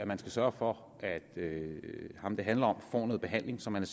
man skal sørge for at ham det handler om får noget behandling så man